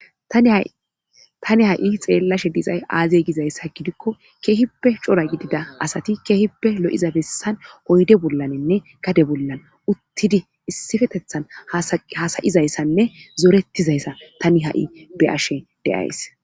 Tani ha'i xeellashe dizay aazey gizayssa gidikko keehippe cora gidida asati keehippe lo'iza bessan oyde bollanenne gade bollan uttidi issifetethan hasayizayssanne zorettizayssa tani ha'i be ashe deays.